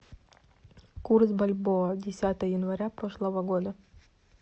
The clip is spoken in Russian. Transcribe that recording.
курс бальбоа десятое января прошлого года